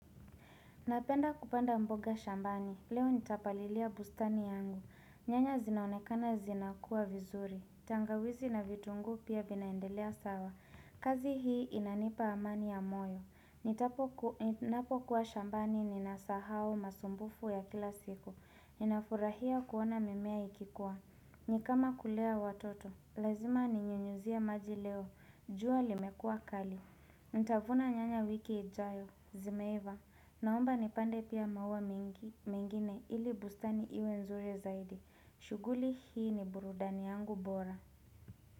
Napenda kupanda mboga shambani, leo nitapalilia bustani yangu, nyanya zinaonekana zina kuwa vizuri, tangawizi na vitunguu pia vinaendelea sawa, kazi hii inanipa amani ya moyo, nitapo ninapokuwa shambani ninasahao masumbufu ya kila siku, ninafurahia kuona mimea ikikuwa, nikama kulea watoto, lazima ninyunyuzie maji leo, jua limekua kali Ntavuna nyanya wiki ijayo, zimeiva Naomba nipande pia maua mingine ili bustani iwe nzuri zaidi shuguli hii ni burudani yangu bora.